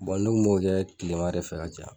ne kun b'o kɛ tilema de fɛ ka caya